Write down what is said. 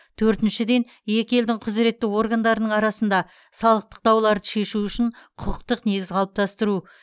төртіншіден екі елдің құзыретті органдардың арасында салықтық дауларды шешу үшін құқықтык негіз қалыптастыру